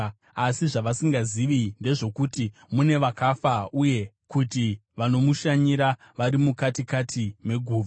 Asi zvavasingazivi ndezvokuti mune vakafa, uye kuti vanomushanyira vari mukati kati meguva.